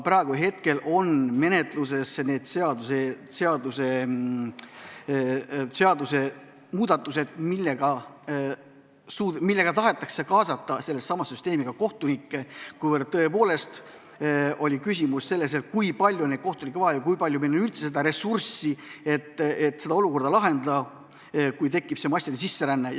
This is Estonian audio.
Praegu on menetluses seadusmuudatused, millega tahetakse sellesse süsteemi kaasata ka kohtunikke, ja tõepoolest on küsimus, kui palju on kohtunikke vaja ja kui palju meil on üldse ressurssi, et olukord lahendada, kui tekib massiline sisseränne.